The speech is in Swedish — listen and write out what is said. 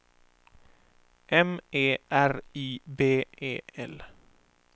M E R I B E L